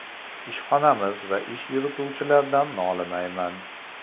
Ishxonamiz va ish yurituvchilardan nolimayman.